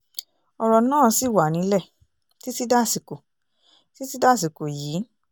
ọ̀rọ̀ náà ṣì wà nílẹ̀ títí dàsìkò títí dàsìkò yìí